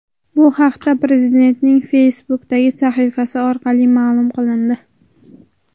Bu haqda Prezidentning Facebook’dagi sahifasi orqali ma’lum qilindi .